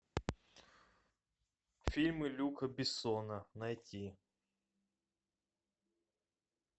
фильмы люка бессона найти